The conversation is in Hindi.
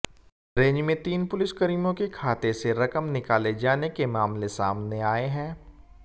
रेंज में तीन पुलिसकर्मियों के खाते से रकम निकाले जाने के मामले सामने आए हैं